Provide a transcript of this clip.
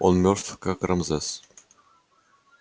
он мёртв как рамзес